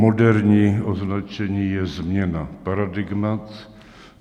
Moderní označení je změna paradigmat.